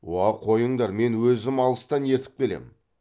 уа қойыңдар мен өзім алыстан ертіп келемін